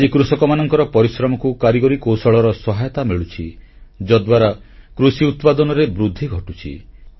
ଆଜି କୃଷକମାନଙ୍କର ପରିଶ୍ରମକୁ କାରିଗରୀ କୌଶଳର ସହାୟତା ମିଳୁଛି ଯଦ୍ୱାରା କୃଷି ଉତ୍ପାଦନରେ ବୃଦ୍ଧି ଘଟୁଛି